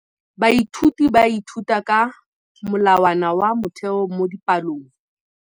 Baithuti ba ithuta ka molawana wa motheo mo dipalong.